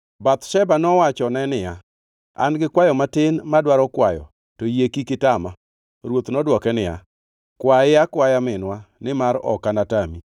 Bathsheba nowachone niya, “An-gi kwayo matin madwaro kwayo to yie kik itama.” Ruoth to nodwoke niya, “Kwaye akwaya minwa nimar ok anatami.”